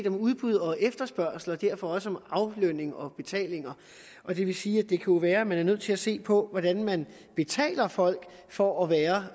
om udbud og efterspørgsel og derfor også om aflønning og betaling og det vil sige at det jo kunne være at man er nødt til at se på hvordan man betaler folk for at være